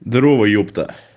здарова епта